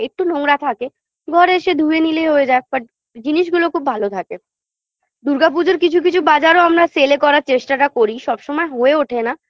একটু নোংরা থাকে ঘরে এসে ধুয়ে নিলেই হয়ে যায় but জিনিসগুলো খুব ভালো থাকে দুর্গা পূজোর কিছু কিছু বাজারও আমরা sale -এ করার চেষ্টাটা করি সবসময় হয়ে ওঠে না